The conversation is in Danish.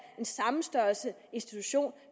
den samme størrelse institution